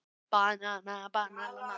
Íselín, lækkaðu í græjunum.